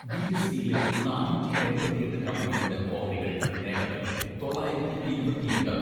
BSc യിലെ നാനൂറ്റി എൺപത്തിയെട്ട് കമ്പനികളുടെ ഓഹരികൾ നേട്ടത്തിലും തൊള്ളായിരത്തി ഇരുപത്തിയെട്ട്